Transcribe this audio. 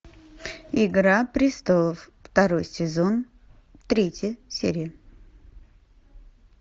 игра престолов второй сезон третья серия